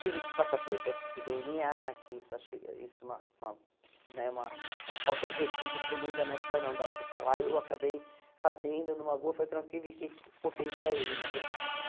Tive que passar pelo teste do dê ene á, que isso acho isso uma uma né uma uma falta de respeito tremenda, mas para não dar o que falar, eu acabei fazendo numa boa, foi tranquilo, e que ficou feio para ele, na verdade, né?